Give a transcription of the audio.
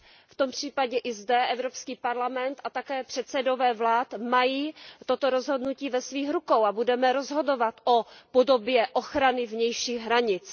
V tom případě i zde Evropský parlament a také předsedové vlád mají toto rozhodnutí ve svých rukou a budeme rozhodovat o podobě ochrany vnějších hranic.